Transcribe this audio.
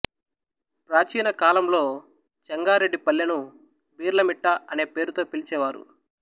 ప్రాచీన కాలంలో చెంగారెడ్డి పల్లెను బీర్ల మిట్ట అనే పేరుతో పిలిచేవారు